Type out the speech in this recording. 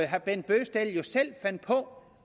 herre bent bøgsted jo selv fandt på